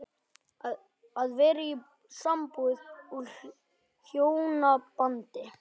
Að vera í sambúð og hjónabandi